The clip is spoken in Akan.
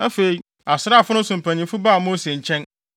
Afei, asraafo no so mpanyimfo baa Mose nkyɛn